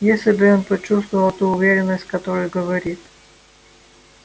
если бы он почувствовал ту уверенность с которой говорит